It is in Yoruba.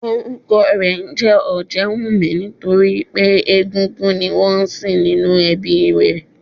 Orúkọ rè ńjé Òjéwùmí nítorípé egúngún ni wón nsìn nínú ẹbí i rè